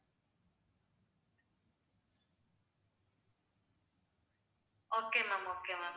okay ma'am okay ma'am